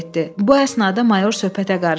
Bu əsnada mayor söhbətə qarışdı.